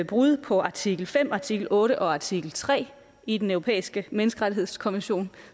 brud på artikel fem artikel otte og artikel tre i den europæiske menneskerettighedskonvention